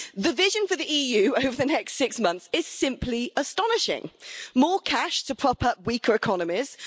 The vision for the EU over the next six months is simply astonishing more cash to prop up weaker economies